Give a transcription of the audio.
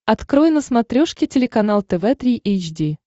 открой на смотрешке телеканал тв три эйч ди